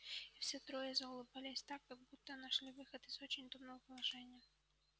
и все трое заулыбались так будто нашли выход из не очень удобного положения